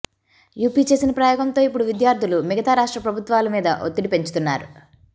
UP చేసిన ప్రయోగంతో ఇప్పుడు విద్యార్థులు మిగతా రాష్ట్ర ప్రభుత్వాల మీద ఒత్తిడి పెంచుతున్నారు